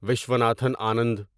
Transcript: Viswanathan Anand